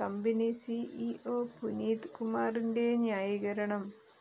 company CEO Puneet കുമാറിന്റെ ന്യായീകരണം